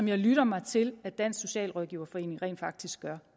jeg lytter mig til at dansk socialrådgiverforening rent faktisk gør